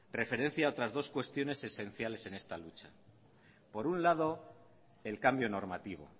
referencia a otras dos cuestiones esenciales en esta lucha por un lado el cambio normativo